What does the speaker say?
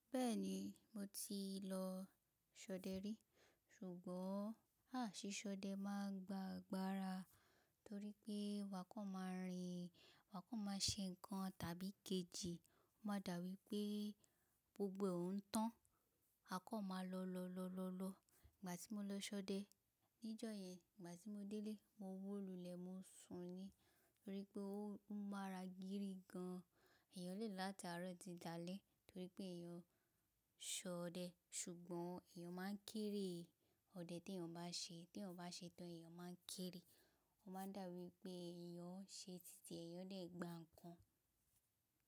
Bẹ́ẹ̀ni, mo ti lọ ṣọdẹ rí. Ṣùgbọ́n, áà ṣiṣọdẹ máa ń gba agbára torí pé maa kan máa rìn, maa kan máa ń ṣe nǹkan tàbí ikejì, ó máa dà wípé gbogbo òn ń tàn. A kan máa lọ, lọ, lọ, lọ, lọ. Ìgbà tí mo lọ ṣọdẹ níjọ yẹn, ìgbà tí mo délé, mo wó lulẹ̀, mo sùn ni torí pé ó ń mara gírí gan. Èèyàn lè lo lataarọ́ ti dalẹ́ torí pé èèyàn ṣọdẹ. Ṣùgbọ́n èèyàn máa ń kéeré ọdẹ tí èèyàn bá ṣe, tí èèyàn bá ṣetán, èèyàn máa ń keéré. Ó máa dà wípé èèyàn ń ṣe tìtì e. Èèyàn dẹ̀ gba nǹkan.